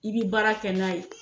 I bi baara kɛ n'a ye.